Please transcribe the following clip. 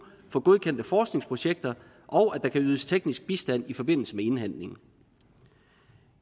for godkendte forskningsprojekter og at der kan ydes teknisk bistand i forbindelse med indhentningen